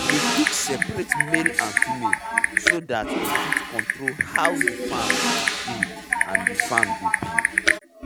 i dey quick searate male and female so that w fit control how the farm dey the farm dey big